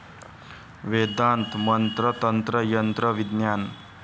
वेदांत मंत्र तंत्र यंत्र विज्ञान